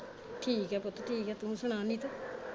ਠੀਕ ਐ ਪੁੱਤ ਠੀਕ ਐ ਤੂੰ ਸੁਣਾ ਨੀਤੂ?